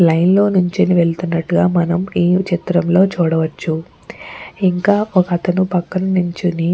line లో నుంచొని వెళుతున్నట్టుగా మనం ఈ చిత్రాన్ని లో చూడవచ్చు ఇంకా ఒక అతను పక్కన నిల్చొని --